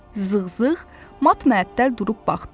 Zığzığ mat-məəttəl durub baxdı.